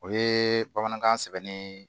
O ye bamanankan sɛbɛnni